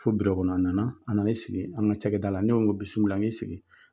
Fɔ biro kɔnɔ, a nana, a nan'i sigi an ka ca kɛ da la , ne ko ko i bisimila i sigi.